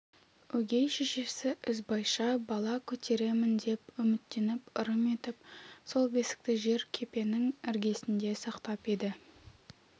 өгей шешесі ізбайша бала көтеремін деп үміттеніп ырым етіп сол бесікті жер кепенің іргесінде сақтап еді